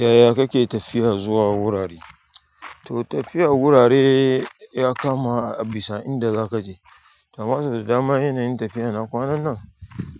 Yaya kake tafiya zuwa wurare? To tafiya wurare ya kama a bisa inda zaka je. To amma sau da dama yanayin tafiya na kwananan,